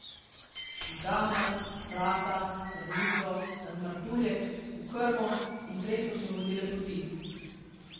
V Tamar, Vrata, Krnico, nad Martuljek, v Krmo in Trento so vodile poti.